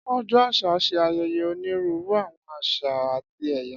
Ọjọ́ àṣà ṣe ayẹyẹ onírúurú àwọn àṣà àti èyà